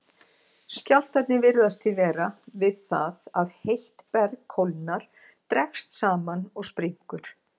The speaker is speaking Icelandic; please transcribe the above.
Skjálftarnir virðast því verða við það að heitt berg kólnar, dregst saman og springur.